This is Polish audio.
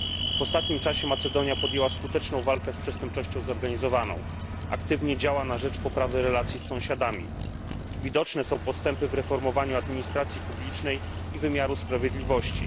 W ostatnim czasie Macedonia podjęła skuteczną walkę z przestępczością zorganizowaną, aktywnie działa na rzecz poprawy relacji z sąsiadami, widoczne są też postępy w reformowaniu administracji publicznej i wymiaru sprawiedliwości.